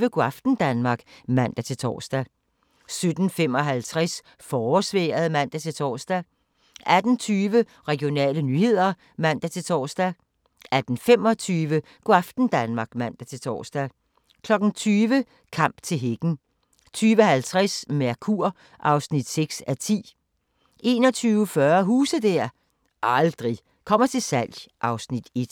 17:25: Go' aften Danmark (man-tor) 17:55: Forårsvejret (man-tor) 18:20: Regionale nyheder (man-tor) 18:25: Go' aften Danmark (man-tor) 20:00: Kamp til hækken 20:50: Mercur (6:10) 21:40: Huse der aldrig kommer til salg (Afs. 1)